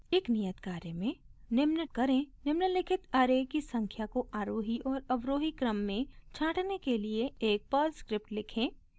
एक नियत कार्य के में निम्न करें निम्लिखित ऐरे की संख्या को आरोही और अवरोही क्रम में छाँटने के लिए एक पर्ल स्क्रिप्ट लिखें